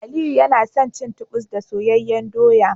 Aliyu yana son cin Titus da soyayyen doya